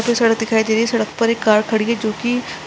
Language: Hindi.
सड़क दिखाई दे रही है सड़क पर एक कार खड़ी है जोकि --